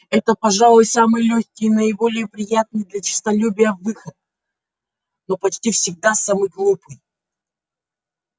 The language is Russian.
это пожалуй самый лёгкий и наиболее приятный для честолюбия выход но почти всегда самый глупый